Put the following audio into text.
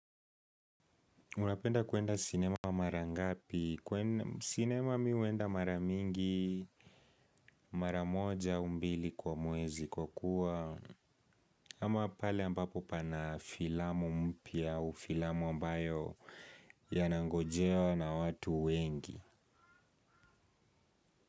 Unapenda kwenda sinema mara ngapi. Sinema mihuenda mara mingi, mara moja, au mbili kwa mwezi kwa kuwa ama pale ambapo pana filamu mpya au filamu ambayo yanangojewa na watu wengi.